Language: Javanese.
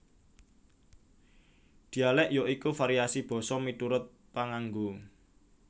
Dhialèk ya iku variasi basa miturut panganggo